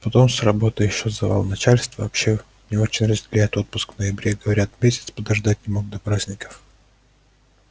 потом с работой ещё завал начальство вообще не очень разделяет отпуск в ноябре говорят месяц подождать не мог до праздников